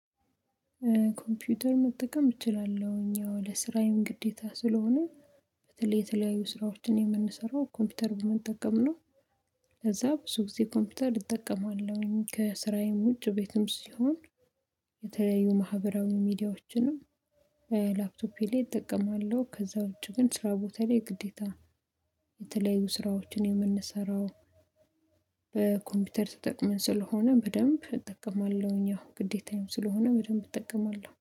ኮምፒውተር መጠቀም እችላለሁኝ ያው ለስራዬም ግዴታ ስለሆነ በተለይ የተለያዩ ስራዎችን የምንሰራው ኮምፒውተር በመጠቀም ነው ከዛ ብዙ ጊዜ ኮምፒውተር እጠቀማለሁኝ ከስራዬም ውጭ ቤትም ሲሆን የተያዩ ማህበራዊ ሚዲያዎችንም በላፕቶፔ ላይ እጠቀማለሁ ከዛ ውጪ ግን ስራ ቦታ ላይ ግዴታ የተለያዩ ስራዎችን የምንሰራው በኮምፒውተር ተጠቅመን ስለሆነ በደንብ እጠቀማለሁኝ ያው ግዴታዬም ስለሆነ በደንብ እጠቀማለሁ።